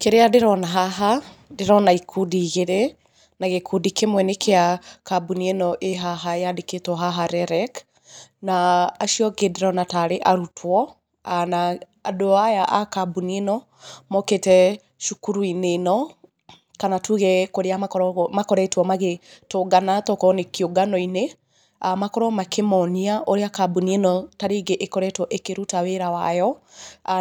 Kĩrĩa ndĩrona haha, ndĩrona ikundi igĩrĩ, na gĩkundi kĩmwe nĩ kĩa kambuni ĩno ĩ haha yandĩkĩtwo haha REREC, na acio angĩ ndĩrona tarĩ arutwo. Na andũ aya a kambuni ĩno mokĩte cukuru-inĩ ĩno kana tuge kũrĩa makoretwo magĩtũngana tokorwo nĩ kĩũngano-inĩ. Makorwo makĩmonia ũrĩa kambuni ĩno tarĩngĩ ĩkoretwo ĩkĩruta wĩra wayo,